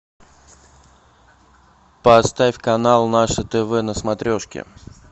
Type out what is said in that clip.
поставь канал наше тв на смотрешке